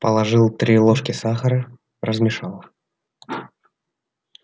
положил три ложки сахара размешал